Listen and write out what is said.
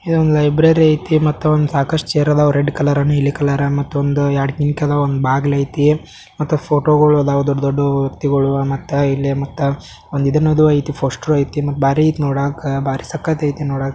ಇಲ್ಲೊಂದು ಲೈಬ್ರರಿ ಇದೆ ಮತ್ತೆ ಒಂದು ಸಾಕಷ್ಟು ಸೇರಿದವ ರೆಡ್ ಕಲರ್ ನೀಲಿ ಕಲರ್ ಮತ್ತೊಂದು ಎರಡು ಕಿಟಕಿ ಇದಾವು ಒಂದು ಬಾಗಿಲು ಐತಿ ಮತ್ತೆ ಫೋಟೋಗಳು ಇದಾವ ದೊಡ್ಡ ದೊಡ್ಡ ವ್ಯಕ್ತಿಗಳು ಮತ್ತು ಇಲ್ಲಿ ಮತ ಒಂದು ಇದು ಅನ್ನೋದು ಐತಿ ಪೋಸ್ಟರ್ ಐತಿ ಬಾರಿ ಸಕ್ಕತೈತಿ ನೋಡಾಕ.